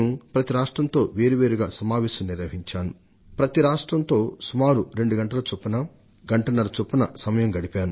ప్రతి రాష్ట్రంతో విడి విడిగా సమావేశమయ్యాను ఒక్కొక్క రాష్ట్రానికి సుమారు రెండు గంటల నుండి రెండున్నర గంటలు కేటాయించాను